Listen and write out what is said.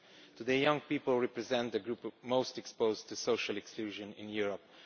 Today, young people represent the group most exposed to social exclusion in Europe